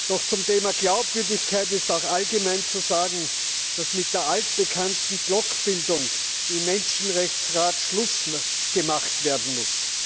Doch zum Thema Glaubwürdigkeit ist auch allgemein zu sagen, dass mit der altbekannten Blockbildung im Menschenrechtsrat Schluss gemacht werden muss.